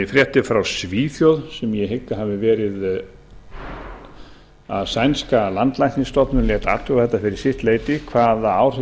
fréttir frá svíþjóð sem ég hygg að hafi verið að sænska landlæknisstofnunin lét athuga þetta fyrir sitt leyti hvaða áhrif